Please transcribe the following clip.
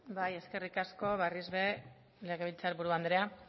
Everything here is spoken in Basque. bai eskerrik asko berriz ere legebiltzar buru andrea